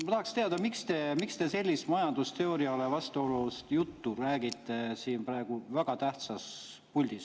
Ma tahaksin teada, miks te sellist majandusteooriale vastuolus juttu räägite praegu siin väga tähtsas puldis.